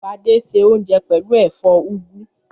Fadé se oúnjẹ pẹ̀lú ẹ̀fọ́ úgú.